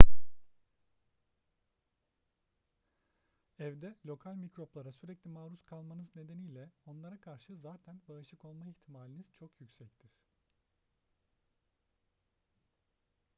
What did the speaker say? evde lokal mikroplara sürekli maruz kalmanız nedeniyle onlara karşı zaten bağışık olma ihtimaliniz çok yüksektir